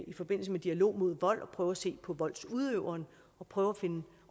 i forbindelse med dialog mod vold er at prøve at se på voldsudøveren og prøve at finde